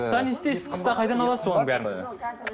қыста не істейсіз қыста қайдан аласыз оның барлығын